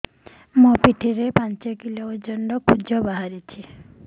ମୋ ପିଠି ରେ ପାଞ୍ଚ କିଲୋ ଓଜନ ର କୁଜ ବାହାରିଛି